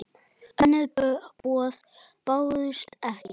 Önnur boð bárust ekki.